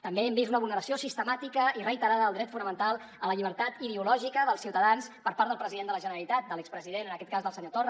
també hem vist una vulneració sistemàtica i reiterada del dret fonamental a la llibertat ideològica dels ciutadans per part del president de la generalitat de l’expresident en aquest cas del senyor torra